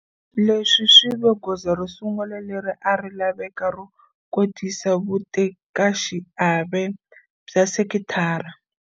Leswi swi ve goza ro sungula leri a ri laveka ro kotisa vutekaxiave bya sekitara.